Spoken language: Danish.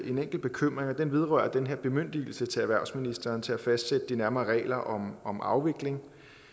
en enkelt bekymring den vedrører den her bemyndigelse til erhvervsministeren til at fastsætte de nærmere regler om om afvikling